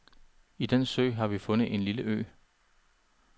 I den sø har vi fundet en lille ø.